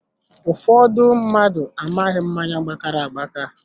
Ụfọdụ mmadụ amaghị mmáñyá gbakara agbaka